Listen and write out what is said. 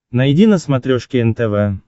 найди на смотрешке нтв